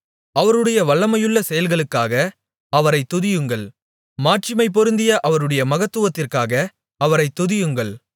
அவருடைய வல்லமையுள்ள செயல்களுக்காக அவரைத் துதியுங்கள் மாட்சிமை பொருந்திய அவருடைய மகத்துவத்திற்காக அவரைத் துதியுங்கள்